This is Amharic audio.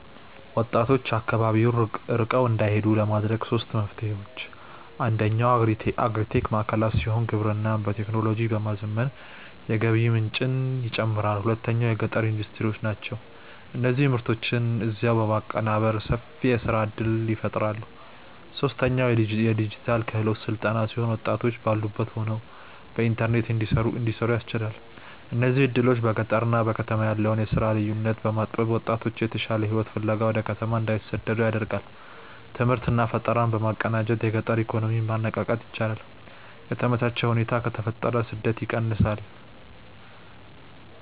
ወጣቶች አካባቢውን ለቀው እንዳይሄዱ ለማድረግ ሦስት መፍትሄዎች፦ አንደኛው አግሪ-ቴክ ማዕከላት ሲሆኑ፣ ግብርናን በቴክኖሎጂ በማዘመን የገቢ ምንጭን ይጨምራሉ። ሁለተኛው የገጠር ኢንዱስትሪዎች ናቸው፤ እነዚህ ምርቶችን እዚያው በማቀነባበር ሰፊ የሥራ ዕድል ይፈጥራሉ። ሦስተኛው የዲጂታል ክህሎት ሥልጠና ሲሆን፣ ወጣቶች ባሉበት ሆነው በኢንተርኔት እንዲሠሩ ያስችላል። እነዚህ ዕድሎች በገጠርና በከተማ ያለውን የሥራ ልዩነት በማጥበብ ወጣቶች የተሻለ ሕይወት ፍለጋ ወደ ከተማ እንዳይሰደዱ ያደርጋሉ። ትምህርትና ፈጠራን በማቀናጀት የገጠር ኢኮኖሚን ማነቃቃት ይቻላል። የተመቻቸ ሁኔታ ከተፈጠረ ስደት ይቀንሳል።